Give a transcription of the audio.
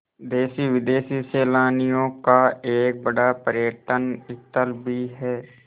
देशी विदेशी सैलानियों का एक बड़ा पर्यटन स्थल भी है